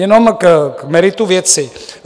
Jenom k meritu věci.